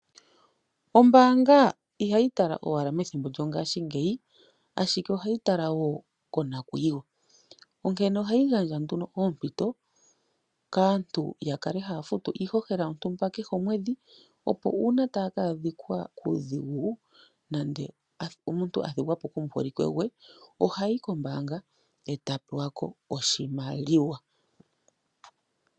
Ombaanga ihayi tala owala methimbo lyongaashingeyi, ashike ohayi tala wo konakuyiwa, onkene ohayi gandja nduno oompito kaantu ya kale haya futu iihohela kehe komwedhi, opo uuna taya ka adhika kuudhigu nenge omuntu a thigwa po komuholike gwe ohayi kombaanga e ta pewa ko oshimaliwa.